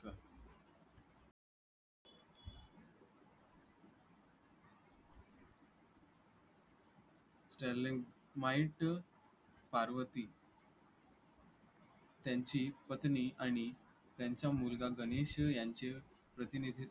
sterling mite Parvati त्यांची पत्नी आणि त्यांचा मुलगा गणेश यांचे प्रतिनिधित्व